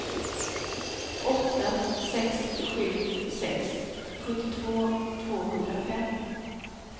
åtta sex sju sex sjuttiotvå tvåhundrafem